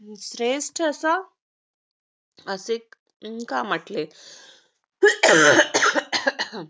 श्रेष्ठ असं असे का म्हणाले?